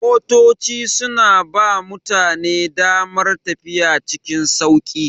Motoci suna ba mutane damar tafiya cikin sauƙi.